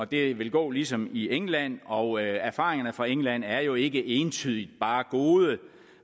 det vil gå ligesom i england og erfaringerne fra england er jo ikke entydigt bare gode